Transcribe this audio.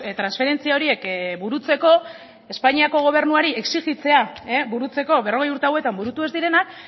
transferentzia horiek burutzeko espainiako gobernuari exijitzea burutzeko berrogei urte hauetan burutu ez direnak